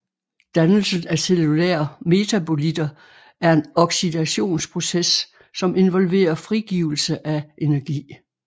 Dannelsen af cellulære metabolitter er en oxidationsproces som involverer frigivelse af energi